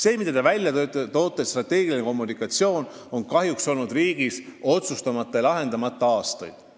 Te tõite välja strateegilise kommunikatsiooni, millega seotud küsimused on kahjuks riigis aastaid otsustamata ja lahendamata olnud.